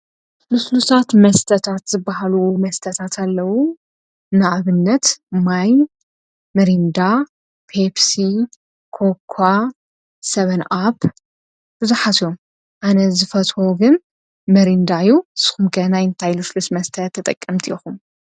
ልስሉሳት መስተታት ዝበሃሉ መስተታት ኣለዉ ንኣብነት ማይ ምሪንዳ ጴሲ ኮኳ ሰብን ኣብ ብዙኃትዮ ኣነ ዝፈትዎ ግን መሪንዳዩ ስኹምገናይ ይንታይ ልሽልስ መስተት ተጠቀምቲ ኢኹም።